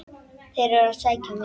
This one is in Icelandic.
Þeir eru að sækja mig.